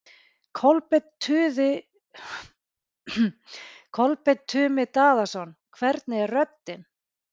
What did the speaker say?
Kolbeinn Tumi Daðason: Hvernig er röddin?